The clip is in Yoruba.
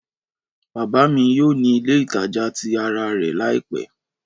Bábà mi yoo ni ile itaja ti ara rẹ laipẹ.